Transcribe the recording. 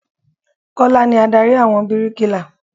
Kọ́lá ni Ádárì àwọn bíríkilà.